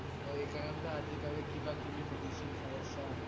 অ' এইকাৰণে টো আজি কালি কিবা কিবি medicine খাই আছা ।